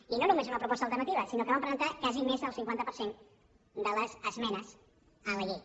i no només una proposta alternativa sinó que vam presentar quasi més del cinquanta per cent de les esmenes a la llei